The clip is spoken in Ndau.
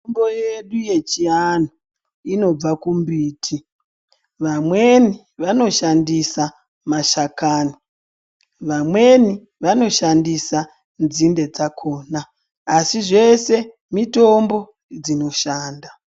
Mitombo yedu yechiantu inobva kumbiti vamweni vanoshandisa mashakani, vamweni vanoshandisa nzinde dzakona asi zveshe mitombo dzinoshanda.